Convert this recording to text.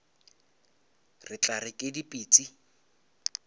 re tla re ke dipitsi